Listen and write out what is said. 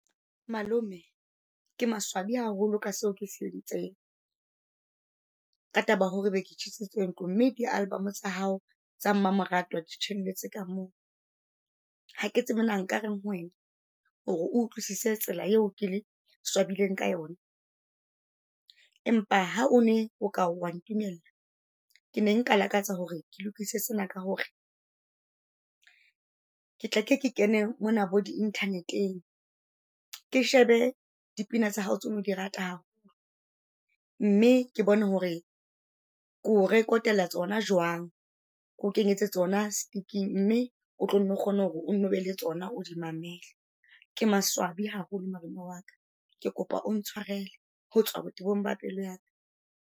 Malome ke maswabi haholo ka seo ke se entseng. Ka taba ya hore be ke tjhisitse ntlo, mme di-album tsa hao tsa mamoratwa di tjhelletse ka moo. Hake tsebe na nkareng ho wena, hore o utlwisise tsela eo ke swabile ka yona. Empa ha o ne o ka wa ntumella , ke ne nka lakatsa hore ke lokise sena ka hore ke tla ke ke kene mona bo di-Internet-eng. Ke shebe dipina tsa hao tse o ne o di rata haholo, mme ke bone hore ke o record-ela tsona jwang. Keo kenyetse tsona stick-ing, mme o tlo nne o kgone hore o nno be le tsona o di mamele. Ke maswabi haholo malome wa ka. Ke kopa o ntshwarele, ho tswa botebong ba pelo yaka.